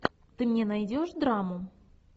ты мне найдешь драму